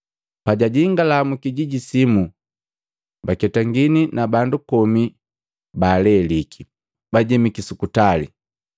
Pajajingala mu kijiji simu, baketangini na bandu komi baa leliki, bajemiki sukutali,